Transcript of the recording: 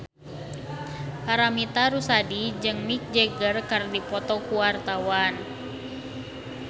Paramitha Rusady jeung Mick Jagger keur dipoto ku wartawan